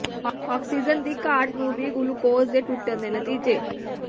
oxygen ਦੀ ਘਾਟ ਨੂੰ ਵੀ ਗਲੂਕੋਜ਼ ਦੇ ਟੁੱਟਣ ਦੇ ਨਤੀਜੇ